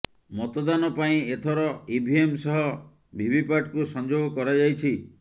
ମତଦାନ ପାଇଁ ଏଥର ଇଭିଏମ ସହ ଭିଭିପାଟକୁ ସଂଯୋଗ କରାଯାଇଛି